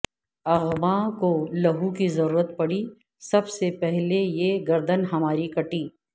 اغباں کو لہوکی ضرورت پڑی سب سے پہلے یہ گردن ہماری کٹی